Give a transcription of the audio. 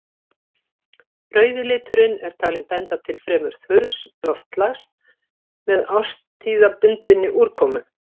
Rauði liturinn er talinn benda til fremur þurrs loftslags með árstíðabundinni úrkomu.